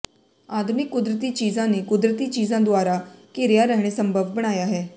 ਆਧੁਨਿਕ ਕੁਦਰਤੀ ਚੀਜ਼ਾਂ ਨੇ ਕੁਦਰਤੀ ਚੀਜ਼ਾਂ ਦੁਆਰਾ ਘਿਰਿਆ ਰਹਿਣਾ ਸੰਭਵ ਬਣਾਇਆ ਹੈ